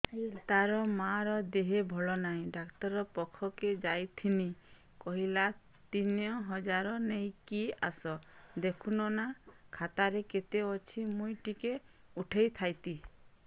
ତାର ମାର ଦେହେ ଭଲ ନାଇଁ ଡାକ୍ତର ପଖକେ ଯାଈଥିନି କହିଲା ତିନ ହଜାର ନେଇକି ଆସ ଦେଖୁନ ନା ଖାତାରେ କେତେ ଅଛି ମୁଇଁ ଟିକେ ଉଠେଇ ଥାଇତି